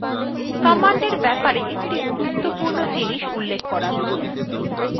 commandsএর ব্যাপারে একটি গুরুত্বপূর্ণ জিনিস উল্লেখ করা প্রয়োজন